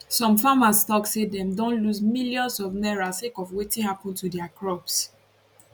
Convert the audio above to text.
some farmers tok say dem don lose millions of naira sake of wetin happun to dia crops